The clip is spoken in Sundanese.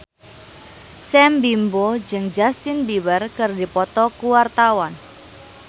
Sam Bimbo jeung Justin Beiber keur dipoto ku wartawan